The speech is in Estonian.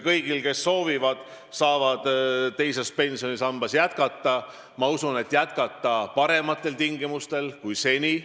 Kõik, kes soovivad, saavad teises pensionisambas jätkata, ja ma usun, jätkata parematel tingimustel kui seni.